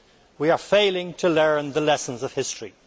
We are failing to learn the lessons of history.